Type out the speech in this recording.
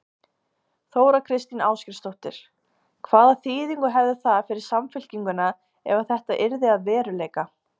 Þóra Kristín Ásgeirsdóttir: Hvaða þýðingu hefði það fyrir Samfylkinguna ef að þetta yrði að veruleika?